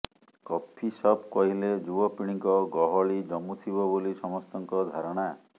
coffee shop କହିଲେ ଯୁବପିଢ଼ିଙ୍କ ଗହଳି ଜମୁଥିବ ବୋଲି ସମସ୍ତଙ୍କ ଧାରଣା